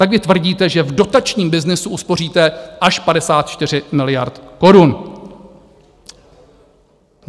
Tak vy tvrdíte, že v dotačním byznysu uspoříte až 54 miliard korun.